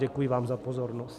Děkuji vám za pozornost.